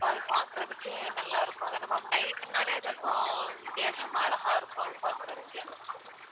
so அது பாக்கறதுக்கே நல்லா இருக்கும் அதான ma'am night னாலே அது அப்போ வித்தியாசமா அழகா இருக்கும் அது பாக்கறதுக்கே